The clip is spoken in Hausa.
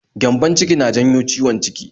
Gyambon-ciki na janyo ciwon ciki